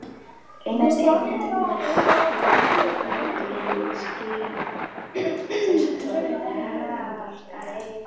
Engin efnisleg atriði skilja þessa tvo lagabálka að.